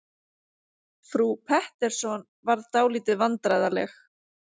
Frú Pettersson varð dálítið vandræðaleg.